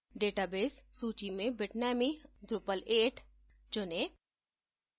database सूची में bitnami _ drupal8 चुनें